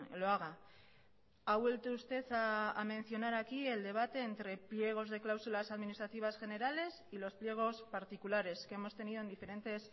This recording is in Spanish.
lo haga ha vuelto usted a mencionar aquí el debate entre pliegos de cláusulas administrativas generales y los pliegos particulares que hemos tenido en diferentes